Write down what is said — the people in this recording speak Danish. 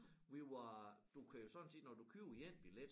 Vi var du kan jo sådan set når du køber én billet